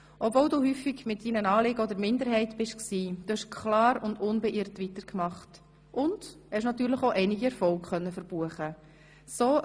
Obwohl du häufig mit deinen Anliegen in der Minderheit warst, hast du klar und unbeirrt weitergemacht und hast natürlich auch einige Erfolge verbuchen können.